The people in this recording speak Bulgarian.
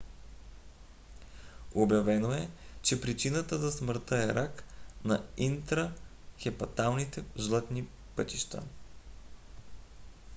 обявено е че причината за смъртта е рак на интрахепаталните жлъчни пътища